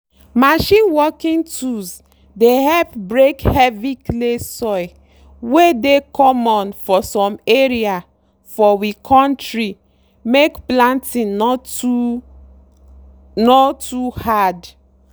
machine working tools dey help break heavy clay soil wey dey common for some area for we kontri make planting no too no too hard.